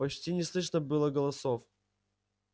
почти не слышно было голосов